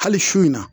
Hali sini na